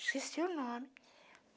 Esqueci o nome.